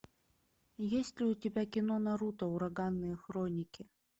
есть ли у тебя кино наруто ураганные хроники